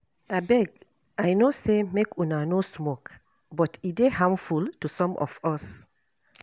Abeg I no say make una no smoke but e dey harmful to some of us.